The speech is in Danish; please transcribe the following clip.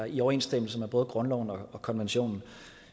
i overensstemmelse med både grundloven og konventionen